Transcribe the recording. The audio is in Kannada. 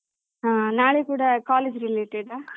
ಹ ನಾಳೆ ಕೂಡ college related ಆ?